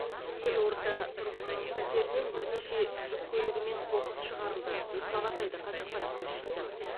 елорда тұрғының пәтерінен бірнеше жүк көлігімен қоқыс шығарылды деп хабарлайды қазақпарат тілшісі